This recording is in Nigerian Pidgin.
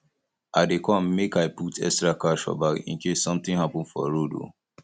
i dey come make i um put extra cash for bag in case something happen for road um